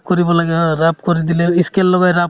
rub কৰিব লাগে হয় rub কৰি দিলে ই scale লগাই rub